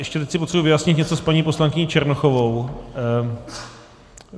Ještě teď si potřebuji vyjasnit něco s paní poslankyní Černochovou.